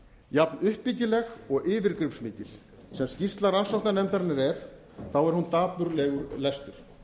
jafn uppbyggileg og yfirgripsmikil sem skýrsla rannsóknarnefndarinnar er þá er hún dapurlegur lestur